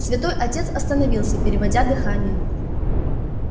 святой отец остановился переводя дыхание